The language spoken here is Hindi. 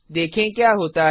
देखेंक्या होता है